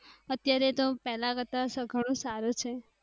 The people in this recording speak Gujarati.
અત્યારે તો પેહલા કરતા સઘળું સારું છે.